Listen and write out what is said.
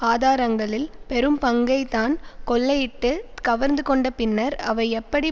ஆதாரங்களில் பெரும்பங்கை தான் கொள்ளயிட்டு கவர்ந்து கொண்ட பின்னர் அவை எப்படி